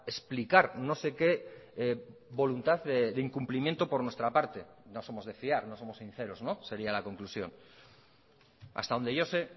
explicar no sé qué voluntad de incumplimiento por nuestra parte no somos de fiar no somos sinceros sería la conclusión hasta donde yo sé